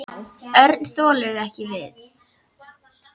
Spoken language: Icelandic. Örn þoldi ekki við.